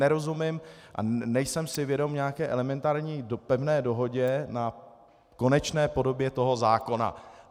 Nerozumím a nejsem si vědom nějaké elementární pevné dohody na konečné podobě toho zákona.